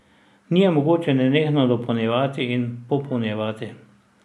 Ni je mogoče nenehno dopolnjevati in popolnjevati.